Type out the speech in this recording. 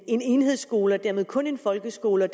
en enhedsskole og dermed kun folkeskolen og